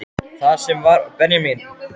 Það sem var óvenjulegt var innihaldið.